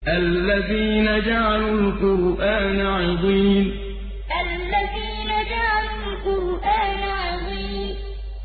الَّذِينَ جَعَلُوا الْقُرْآنَ عِضِينَ الَّذِينَ جَعَلُوا الْقُرْآنَ عِضِينَ